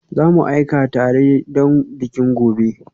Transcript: Za mu aika da tire don bikin gobe